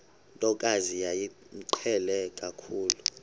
ntokazi yayimqhele kakhulu